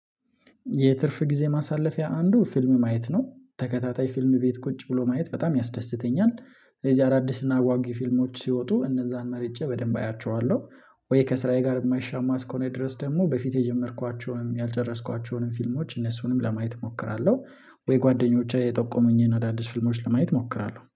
የትርፍ ጊዜ ማሳለፊያ አንዱ ፊልም ማየት ነው ተከታታይ ፊልም ቤት ቁጭ ብሎ ማየት በጣም ያስደስተኛል። እዚህ አዳዲስ እና ጓጊ ፊልሞች ሲወጡ እነዛን መርጬ በደንብ አያቸዋለሁ። ወይ ከስራዬ ጋር የማይሻማ እስኮኔ ድረስ ደግሞ በፊት የጀመርኳቸውንም ያልጨረስኳቸውንም ፊልሞች እነሱንም ለማየት እሞክራለሁ። ወይ ጓደኞቼ የጠቆሙኝን አዳዲስ ፍልሞች ለማየት እሞክራለሁ